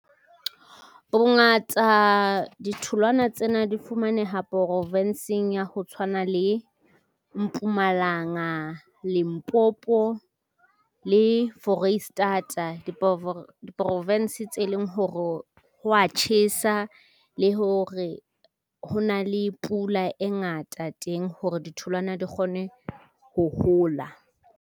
Bongata ditholwana tsena di fumaneha province-ng ya ho tshwana le Mpumalanga, Limpopo le Foreisetata. Diphoofolo P S tse leng hore ho wa tjhesa le hore ho na le pula e ngata teng, hore ditholwana di kgone ho hola.